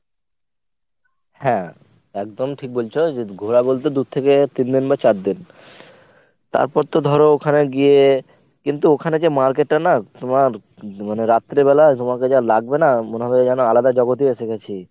হ্যাঁ। একদম ঠিক বলছো যদি ঘোরা বলতে দু থেকে তিন দিন বা চার দিন। তারপর তো ধর ওখানে গিয়ে কিন্তু ওখানে যে market টা না তোমার ম~ মানে রাত্রেবেলা তোমাকে যা লাগবে না মনে হবে যেন আলাদা জগতে এসে গেছি।